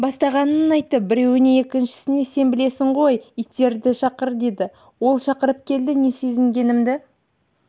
бастағанын айтты біреуі екіншісіне сен білесің ғой иттерді шақыр деді ол шақырып келді не сезінгенімді